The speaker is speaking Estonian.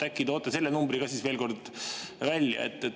Äkki toote selle numbri ka veel kord välja?